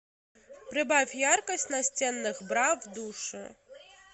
прибавь яркость настенных бра в душе